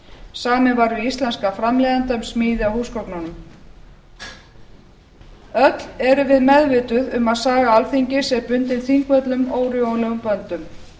samið var við íslenskan framleiðanda um smíði á húsgögnunum öll erum við meðvituð um að saga alþingis er bundin þingvöllum órjúfanlegum böndum